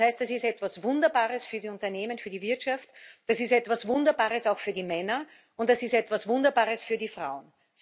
Das heißt, es ist etwas Wunderbares für die Unternehmen, für die Wirtschaft, das ist etwas Wunderbares auch für die Männer, und das ist etwas Wunderbares für die Frauen.